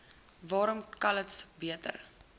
waarom calitzdorp beter